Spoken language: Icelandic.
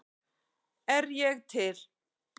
Er ég til?